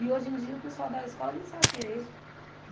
E hoje em dia o pessoal da escola nem sabe quem é ele.